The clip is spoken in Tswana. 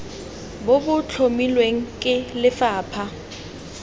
bo bo tlhomilweng ke lefapha